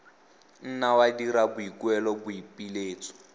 nna wa dira boikuelo boipiletso